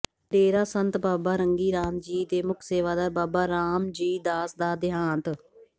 ਡੇਰਾ ਸੰਤ ਬਾਬਾ ਰੰਗੀ ਰਾਮ ਜੀ ਦੇ ਮੁੱਖ ਸੇਵਾਦਾਰ ਬਾਬਾ ਰਾਮ ਜੀ ਦਾਸ ਦਾ ਦਿਹਾਂਤ